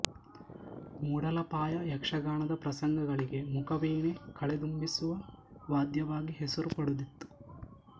ಮೂಡಲಪಾಯ ಯಕ್ಷಗಾನದ ಪ್ರಸಂಗಗಳಿಗೆ ಮುಖವೀಣೆ ಕಳೆದುಂಬಿಸುವ ವಾದ್ಯವಾಗಿ ಹೆಸರು ಪಡೆದಿತ್ತು